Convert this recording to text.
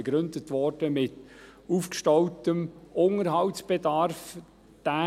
Diese wurde mit dem aufgestauten Unterhaltsbedarf begründet.